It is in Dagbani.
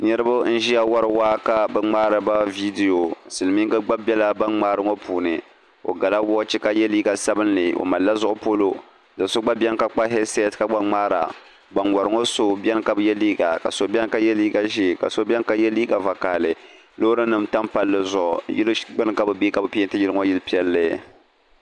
Niriba n-ʒiya wari waa ka bɛ gbaari ba viidiyo silimiŋga gba be ban gbaari maa puuni o gala woochi ka ye liiga sabinli ka mali zuɣupolo do' so gba beni ka kpa hɛdisɛti ban wari ŋɔ so bi ye liiga ka so ye liiga ʒee ka so ye liiga vakaɣili loorinima tam palli zuɣu yili gbuni ka bɛ be ka bɛ pɛnti yili ŋɔ zaɣ' piɛlli.